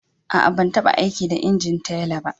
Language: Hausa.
Aa, ban tabba aiki da injin teller ba.